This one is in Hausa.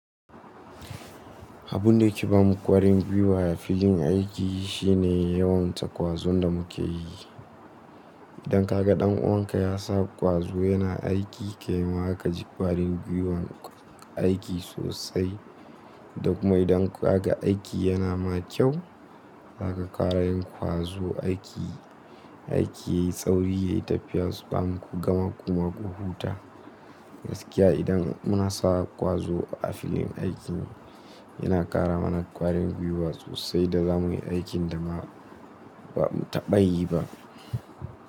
Abun da yake ba mu ƙwarin gwiwa a filin aiki shine yawan takwazon da muke yi. Idan ka ga ɗan uwanka ya sa ƙwazo yana aiki kai ma zaka ji ƙwarin gwiwan aiki sosai. Da kuma idan ka ga aiki yana ma kyau, zaka ƙara yin ƙwazo aiki. Aiki yayi sauri, yayi tafiya, ban kuga makoma ƙu huta. Gaskiya idan muna sa ƙwazo a filin aiki, yana ƙara mana ƙwarin gwiwa sosai da zamuyi aikin da ba mu taɓa yi ba.